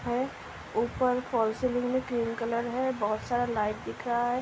है ऊपर fall ceiling में ग्रीन कलर है। बहुत सारा लाइट दिख रहा है।